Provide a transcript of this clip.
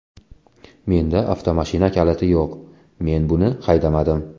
Menda avtomashina kaliti yo‘q, men buni haydamadim.